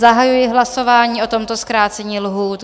Zahajuji hlasování o tomto zkrácení lhůt.